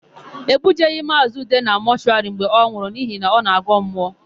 E bujeghị Maazị Ude na mọshụwarị mgbe ọ nwụrụ n'ihi na ọ na-agọ mmụọ.